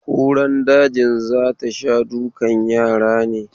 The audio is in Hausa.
Kuran dajin za ta sha dukan yara ne?